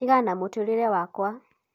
tigana na mũtũrĩra wakwa